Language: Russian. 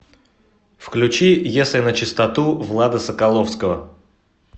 включи если начистоту влада соколовского